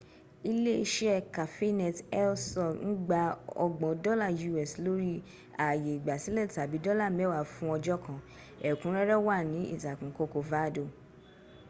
iléeṣẹ́ cafenet el sol ń gba ọgbọ̀n dọ́la us lórí ààyè ìgbásílẹ̀ tàbí dọ́là mẹ́wàá fún ọjọ́ kan; ẹ̀kúnrẹ́rẹ́ wà ní ìtàkùn corcovado